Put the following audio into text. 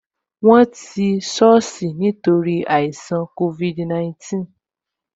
Won ti soosi nítorí àìṣàn covid 19